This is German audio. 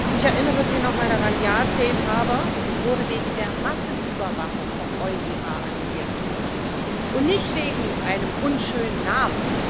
Ich erinnere Sie nochmal daran Ja, Safe Harbour wurde wegen der Massenüberwachung vom EuGH annulliert und nicht wegen eines unschönen Namens.